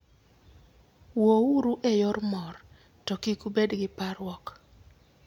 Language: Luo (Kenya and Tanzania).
Wuouru e yor mor, to kik ubed gi parruok.